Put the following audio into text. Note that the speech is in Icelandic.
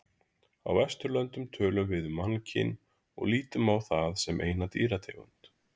Á Vesturlöndum tölum við um mannkyn og lítum á það sem eina dýrategund.